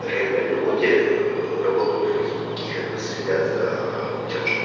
реальные люди работают в фейсбуке как бы следят за тем что